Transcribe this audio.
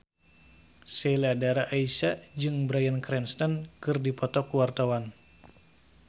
Sheila Dara Aisha jeung Bryan Cranston keur dipoto ku wartawan